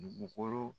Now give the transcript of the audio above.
Dugukolo